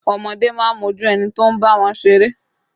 Ọmọdé máa ń mójú ẹni tó ń bá wọn ṣeré